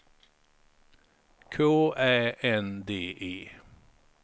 K Ä N D E